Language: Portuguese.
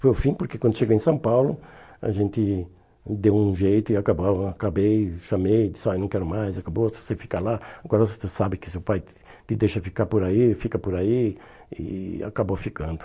Foi o fim porque quando eu cheguei em São Paulo, a gente deu um jeito e acabava acabei, chamei, disse, olha não quero mais, acabou, se você ficar lá, agora você sabe que seu pai te te deixa ficar por aí, fica por aí e acabou ficando.